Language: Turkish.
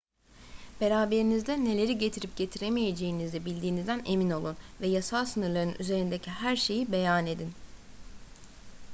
beraberinizde neleri getirip getiremeyeceğinizi bildiğinizden emin olun ve yasal sınırların üzerindeki her şeyi beyan edin